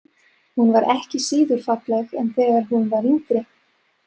Hún var ekki síður falleg en þegar hún var yngri.